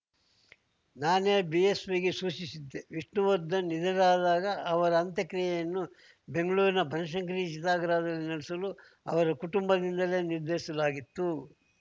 ನಾನೇ ಬಿಎಸ್‌ವೈಗೆ ಸೂಚಿಸಿದ್ದೆ ವಿಷ್ಣುವರ್ಧನ್‌ ನಿಧನರಾದಾಗ ಅವರ ಅಂತ್ಯಕ್ರಿಯೆಯನ್ನು ಬೆಂಗಳೂರಿನ ಬನಶಂಕರಿ ಚಿತಾಗಾರದಲ್ಲಿ ನಡೆಸಲು ಅವರ ಕುಟುಂಬದಿಂದಲೇ ನಿರ್ಧರಿಸಲಾಗಿತ್ತು